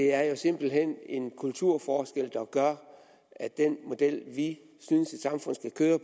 er jo simpelt hen en kulturforskel der gør at den model vi synes et samfund skal køre